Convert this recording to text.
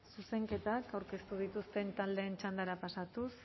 zuzenketak aurkeztu dituzten taldeen txandara pasatuz